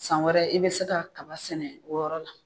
San wɛrɛ i bɛ se ka kaba sɛnɛ o yɔrɔ la.